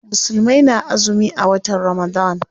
Musulmai na azumi a watan Ramadan.